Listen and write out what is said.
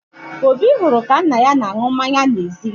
Obi hụrụ ka nna ya na-aṅụ mmanya n'ezi